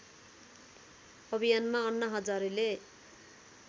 अभियानमा अन्ना हजारेलाई